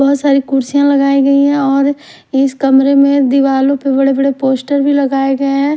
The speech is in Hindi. बहुत सारी कुर्सियां लगाई गई हैं और इस कमरे में दीवालों पर बड़े-बड़े पोस्टर भी लगाए गए हैं।